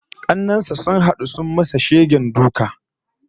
Kannen sa sun hadu sun masa shegen duka